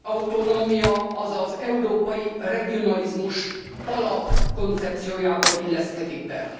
autonómia az európai regionalizmus alapkoncepciójába illeszkedik bele.